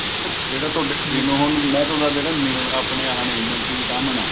ਜਿਹੜਾ ਤੁਹਾਡਾ ਉਹ ਹੁੰਦਾ ਤੁਹਾਡਾ ਜਿਹੜਾ mineral ਆਪਣੇ ਆਹ ਨੇ multi vitamin ਐ